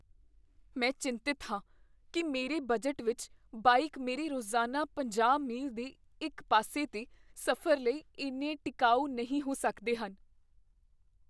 ਮੈਂ ਚਿੰਤਤ ਹਾਂ ਕੀ ਮੇਰੇ ਬਜਟ ਵਿੱਚ ਬਾਈਕ ਮੇਰੇ ਰੋਜ਼ਾਨਾ ਪੰਜਾਹ ਮੀਲ ਦੇ ਇੱਕ ਪਾਸੇ ਦੇ ਸਫ਼ਰ ਲਈ ਇੰਨੇ ਟਿਕਾਊ ਨਹੀਂ ਹੋ ਸਕਦੇ ਹਨ